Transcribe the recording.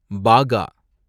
பாகா